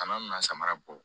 Tama mina samara bɔ